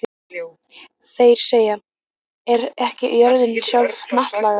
Þeir segja: Er ekki jörðin sjálf hnattlaga?